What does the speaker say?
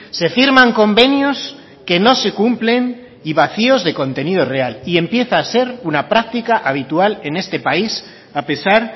se firman convenios que no se cumplen y vacíos de contenido real y empieza a ser una práctica habitual en este país a pesar